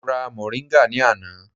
Mo ra moringa ní àná.